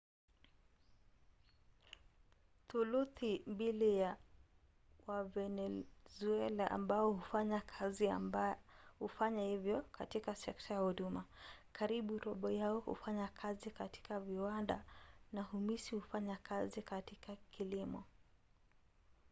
thuluthi mbili ya wavenezuela ambao hufanya kazi hufanya hivyo katika sekta ya huduma karibu robo yao hufanya kazi katika viwanda na humusi hufanya kazi katika kilimo